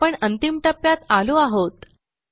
आपण अंतिम टप्प्यात आलो आहोत